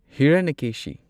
Hiranyakeshi